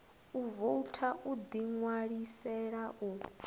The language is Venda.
u voutha u ḓiṋwalisela u